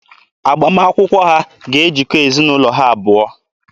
Agbamakwụkwọ ha ga-ejikọ ezinaụlọ ha abụọ.